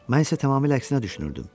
Mən isə tamamilə əksinə düşünürdüm.